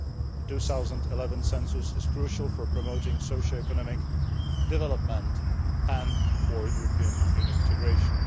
The 2011 census is crucial for promoting social and economic development and for European Union integration.